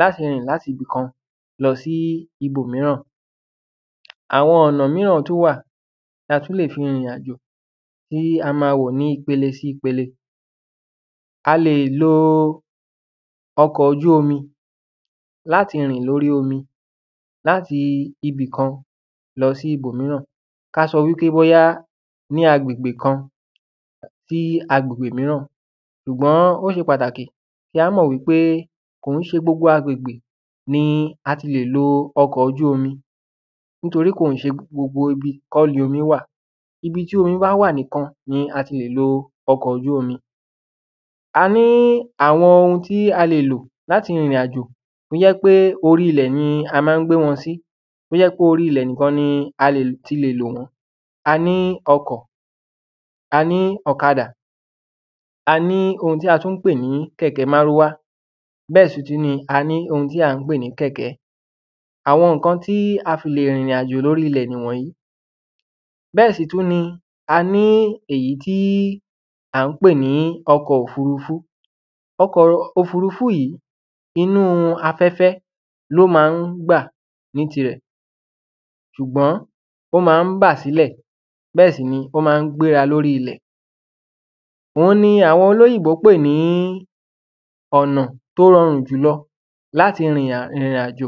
láti rìn láti ibì kan lọsí ibòmíràn. Àwọn ọ̀nà míràn tún wà, ta tún lè fi rìnrìn àjò, tí a ma wò ní pele sí pele, a lè lo ọkọ̀ ojú omi láti rìn lórí omi, láti ibìkan lọsí ibòmíràn, ká sọ wípé bóyá ní agbègbè kan sí agbègbè míràn ṣùgbọ́n ó se pàtàkì kí á mọ̀ wípé kò kín se gbogbo agbègbè ni a ti lè lo ọkọ̀ ojú-omi nítorí kò kín ṣe gbogbo ibi kọ́ ni omí wà, ibi tí omi bá wà nìkan ni a ti lè lo ọkọ̀ ojú omi, a ní àwọn oun tí a lè lò láti rìnrìn àjò tó jẹ́ pé orí ilẹ̀ ni a ma ń gbé wọn sí, tó jẹ́ pé orí ilẹ̀ níkan ni a lè ti lè lọ̀ wọ́n, a ní ọkọ̀, a ní ọ̀kadà, a ní ohun tí a tún pè ní kẹ̀kẹ́ márúwá bẹ́ẹ̀ sì tún ni, a ní ohun tí à ń pè ní kẹ̀kẹ́, àwọn ǹkan tí a fi lè rìnrìn àjò ni orílẹ̀ ni wọ̀nyí, bẹ́ẹ̀ sì tún ni, a ní èyí tí à ń pè ní ọkọ̀ òfurufú, ọkọ̀ òfurufú yìí, inú afẹ́fẹ́ ni ó ma ń gbà ní tirẹ̀, ṣùgbọ́n ó ma ń bà sílẹ̀, bẹ́ẹ̀ sì ni ó ma ń gbéra lóri ilẹ̀, òun ni àwọn olóyìnbó pè ní ọ̀nà tó rọrùn jùlọ láti rìnrìn àjò.